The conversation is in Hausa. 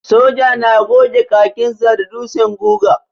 Soja na goge kakinsa da ɗutsen guga.